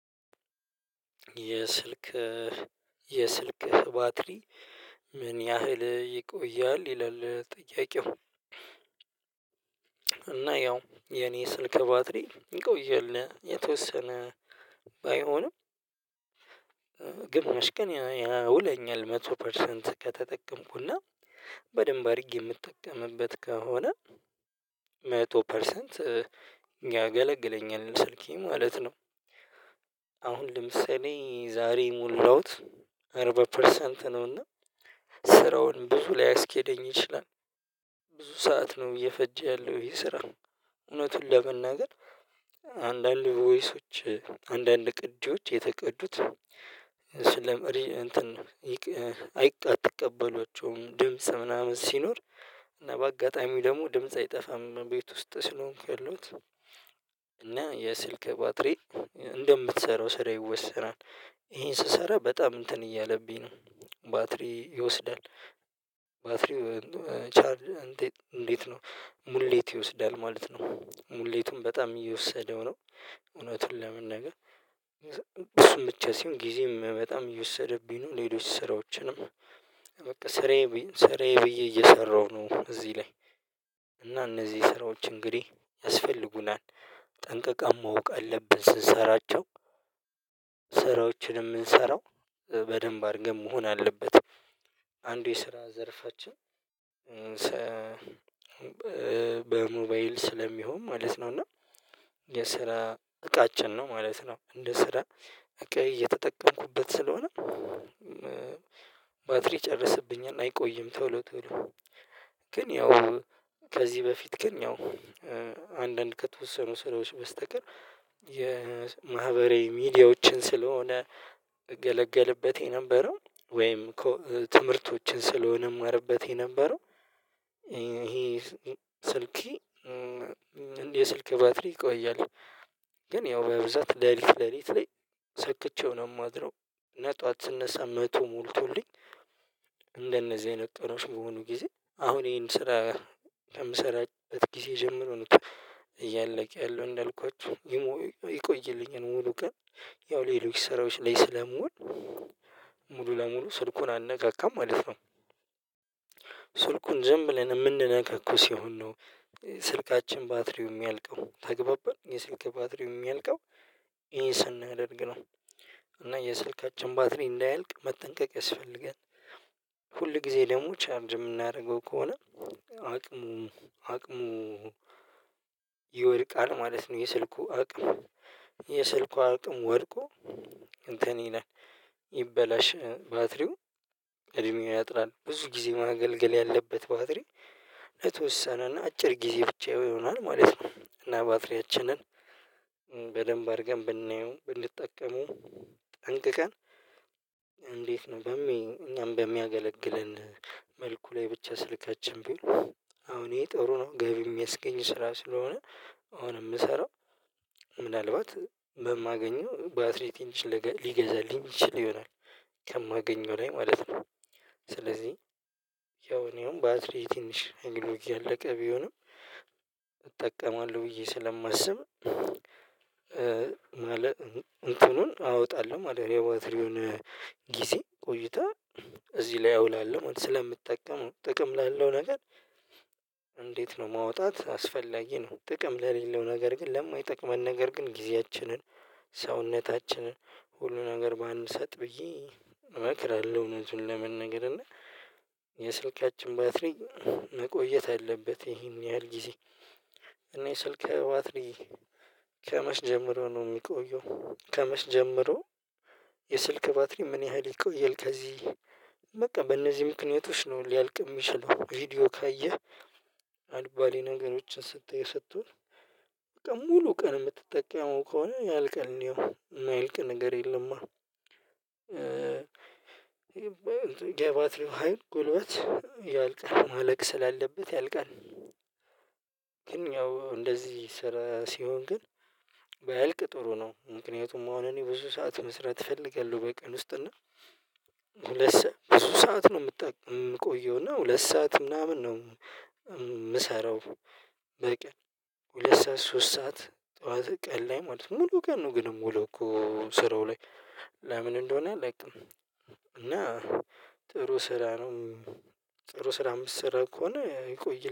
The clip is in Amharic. ''የስልክህ ባትሪ ምን ያህል ይቆያል?'' ይላል ጥያቄው እና ያው የኔ ስልክ ባትሪ ይቆያል የተወሰነ ባይሆንም ግማሽ ቀን ያውለኛል መቶ ፐርሰንት ከተጠቀምኩና፤ በደንብ አርጌ ምጠቀምበት ከሆነ መቶ ፐርሰንት ያገለግለኛል ስልኬ ማለት ነው። አሁን ለምሳሌ ዛሬ የሞላውት አርባ ፐርሰንት ነውና ስራው ብዙ ሊያስኬደኝ ይችላል ብዙ ሰዓት ነው እየፈጀ ያለው ይሄ ስራ እውነቱን ለመናገር አንዳንድ ቮይሶች አንዳንድ ቅጅዎች የተቀዱት ስለመሪ እንትን አትቀበሏቸውም ድምጽ ምናምን ሲኖር እና በአጋጣሚ ደግሞ ድምጽ አይጠፋም ቤት ውስጥ ስለሆንኩ ያለውት እና የስልክ ባትሪ እንደምትሰራው ስራ ይወሰናል ይሄን ስሰራ በጣም እንትን እያለብኝ ነው ባትሪ ይወስዳል ባትሪ ቻርጅ እንዴት ነው? ሙሌት ይወስዳል ማለት ነው። ሙሌቱን በጣም እየወሰደው ነው እውነቱን ለመናገር እሱም ብቻ ሲሆን ጊዜም በጣም የወሰደብኝ ነው። ሌሎች ስራዎችንም በቃ ስራዬ ብዬ ስራዬ ብዬ እየሰራሁ ነው እዚህ ላይ። እና እነዚህ ስራዎች እንግዲህ ያስፈልጉናል ጠንቅቀህ ማወቅ አለብህ ስትሰራቸው ስራዎችንም ምንሰራው በደንብ አርገን መሆን አለበት አንዱ የስራ ዘርፋችን በሞባይል ስለሚሆን ማለት ነው እና የስራ እቃችን ነው ማለት ነው። እንደ ስራ እቃዬ እየተጠቀምኩበት ስለሆነ ባትሪ ይጨርስብኛል አይቆይም ቶሎ ቶሎ። ግን ያው ከዚህ በፊት ግን ያው አንዳንድ ከተወሰኑ ስራዎች በስተቀር የማህበራዊ ሚዲያዎችን ስለሆነ እገለገልበት የነበረው ወይም ትምህርቶችን ስለሆነም እማረበት የነበረው ይሄ ስልኬ የስልኬ ባትሪ ይቆያል። ግን ያው በብዛት ሌሊት ሌሊት ላይ ሰክቼው ነው ማድረው እና ጧት ስነሳ መቶ ሞልቶልኝ እንደነዚህ አይነት ጠረሽ በሆኑ ጊዜ አሁን ይሄን ስራ ለምሰራበት ጊዜ ጀምሮ ነው እያለቀ ያለው እንዳልኳችሁ። ይህም ሆኖ ይቆይልኛል ሙሉ ቀን፤ ያው ሌሎች ስራዎች ላይ ስለምውል ሙሉ ለሙሉ ስልኩን አልነካካም ማለት ነው። ስልኩን ዝም ብለን እምንነካካው ሲሆን ነው ስልካችን ባትሪው ሚያልቀው፤ ተግባባን የስልክ ባትሪ ሚያልቀው ይሄን ስናደርግ ነው። እና የስልካችን ባትሪ እንዳያልቅ መጠንቀቅ ያስፈልጋል ሁል ጊዜ ደግሞ ቻርጅ ምናረገው ከሆነ አቅሙም አቅሙ ይወድቃል ማለት ነው። የስልኩ አቅም የስልኩ አቅም ወድቆ እንትን ይላል ይበላሻል ባትሪው እድሜው ያጥራል ብዙ ጊዜ ማገልገል ያለበት ባትሪ ለተወሰነና አጭር ጊዜ ብቻ ይሆናል ማለት ነው። እና ባትሪያችንን በደንብ አርገን ብናየው ብንጠቀመው ጠንቅቀን እንዴት ነው እኛም በሚያገለግለን መልኩ ላይ ብቻ ስልካችን ብል አሁን ይሄ ጥሩ ነው ገቢ ሚያስገኝ ስራ ስለሆነ አሁን ምሰራው ምናልባት በማገኘው ባትሪ፤ ትንሽ ነገር ሊገዛልኝ ይችል ይሆናል። ከማገኘው ላይ ማለት ነው፤ ስለዚህ ያው እኔ አሁን ባትሪ ትንሽ እያለቀ ቢሆንም እጠቀማለሁ ብዬ ስለማስብ ማለት እንትኑን አወጣለሁ ማለት ነው የባትሪውን ጊዜ ቆይታ እዚህ ላይ አውላለሁ ስለምጠቀመው ጥቅም ላለው ነገር እንዴት ነው ማውጣት አስፈላጊ ነው። ጥቅም ለሌለው ነገር ግን ለማይጠቅመን ነገር ግን ጊዜያችንን፣ ሰውነታችንን፣ ሁሉ ነገር ባንሰጥ ብዬ እመክራለሁ እውነቱን ለመናገር እና የስልካችን ባትሪ መቆየት አለበት ይሄን ያህል ጊዜ እኔ ስልኬ ባትሪ ከመች ጀምሮ ነው ሚቆየው? ከመች ጀምሮ የስልክ ባትሪ ምን ያህል ይቆይል ከዚህ? በቃ በእነዚህ ምክንያቶች ነው ሊያልቅ ሚችለው ቪዲዮ ካየህ አልባሌ ነገሮችን ስታይ ስትዉል፤ በቃ ሙሉ ቀን ምትጠቀመው ከሆነ ያልቃል ያው። ማያልቅ ነገር የለማ የባትሪው ሀይል ጉልበት ያልቃል ማለቅ ስላለበት ያልቃል። ግን ያው እንደዚህ ስራ ሲሆን ግን ባያልቅ ጥሩ ነው ምክንያቱም አሁን እኔ ብዙ ሰዓት መስራት እፈልጋለሁ በቀን ውስጥ እና ሁለት ሰዓት፣ ብዙ ሰዓት ነው ምቆየው እና ሁለት ሰዓት ምናምን ነው ምሰራው። በቀን ሁለት ሰዓት፣ ሶስት ሰዓት ጠዋት ቀን ላይ ማለት ነው ሙሉ ቀን ነው ግን ምውለውኮ ስራው ላይ፤ ለምን እንደሆነ አላቅም። እና ጥሩ ስራ ነው። ጥሩ ስራ ምትሰራ ከሆነ ይቆይ